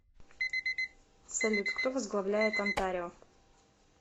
салют кто возглавляет онтарио